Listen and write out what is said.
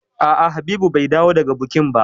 A'a Habibu bai dawo daga bukin ba.